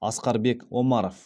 асқарбек омаров